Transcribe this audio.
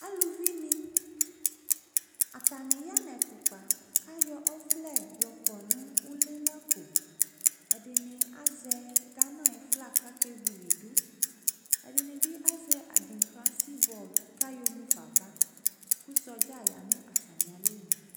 Aluvi ne, atane ya nɛtu kpa, kyɔ ɔvlɔ kɔ no ule la koƐde ne azɛ Gana aye flag kake wiliduƐde ne be azɛ adikra sibɔl ka yɔ mufa ava ko sɔdza ya no atame alɔnu